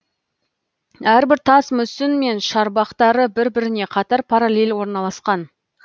әрбір тас мүсін мен шарбақтары бір біріне қатар паралель орналасқан